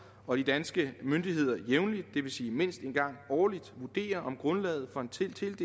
og de danske myndigheder jævnligt det vil sige mindst en gang årligt vurderer om grundlaget for en tildelt